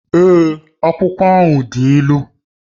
Èé, akwụkwọ ahụ dị ilu